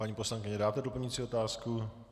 Paní poslankyně, dáte doplňující otázku?